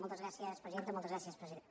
moltes gràcies presidenta moltes gràcies president